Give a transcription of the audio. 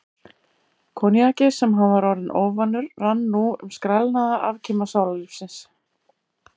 Koníakið, sem hann var orðinn óvanur, rann nú um skrælnaða afkima sálarlífsins.